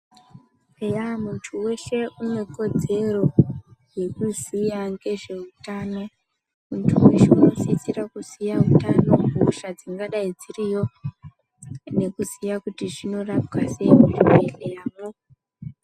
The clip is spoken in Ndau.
Eya muntu weshe une kodzero yekuziya ngezveutano, muntu weshe unosisira Kuziya hutano , hosha dzingadai dziriyo nekuziya kuti zvinorapwa sei muzvi bhehleyamwo.